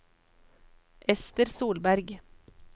Esther Solberg